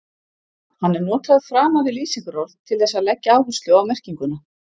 Hann er notaður framan við lýsingarorð til þess að leggja áherslu á merkinguna.